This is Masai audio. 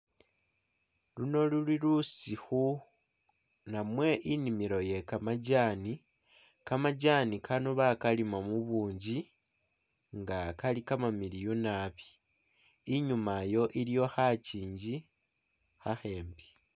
Luno luli lusikhu namwe inimilo iye kamajani, kamajani kano bakalima mubunji nga kali kamamilyu naabi inyuma iyo iliyo khakingi khakhembi.